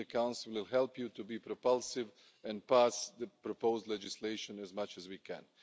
We in the Council will help you to be propulsive and pass the proposed legislation as much as we can.